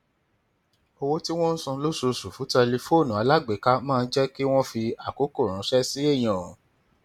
owó tí wọn ń san lóṣooṣù fún tẹlifóònù alágbèéká máa ń jẹ kí wọn fi àkókò ránṣẹ sí èèyàn